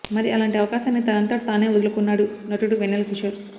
మరి అలాంటి అవకాశాన్ని తనంతట తానే వదులుకున్నాడు నటుడు వెన్నెల కిశోర్